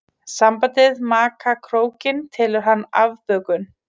Sambandið maka krókinn telur hann afbökun.